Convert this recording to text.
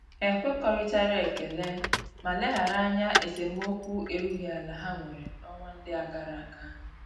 Ha ekwekoritara ekele ma leghara anya esemokwu erughi ala ha nwere na-onwa ndi agaraga.